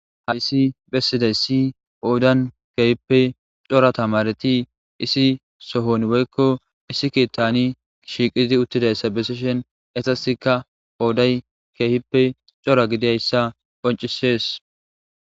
ha issi bessiday si poodan keehippe cora tamareti isi sohon woykko issi kiettani shiqidi uttidayssa bessishen esasika pooday keehippe cora gidayssa qoncisees